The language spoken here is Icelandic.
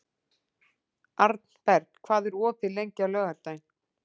Arnberg, hvað er opið lengi á laugardaginn?